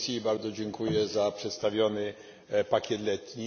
Bardzo dziękuję za przedstawiony pakiet letni.